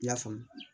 I y'a faamu